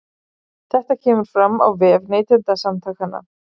Þetta kemur fram á vef Neytendasamtakanna